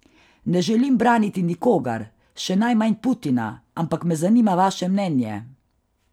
Ne želim braniti nikogar, še najmanj Putina, ampak me zanima vaše mnenje.